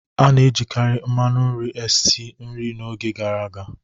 A na-ejikarị mmanu nri esi nri n'oge gara aga.